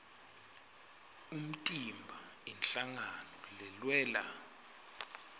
umtimba inhlangano lelwela